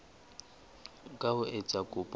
ka ho etsa kopo ya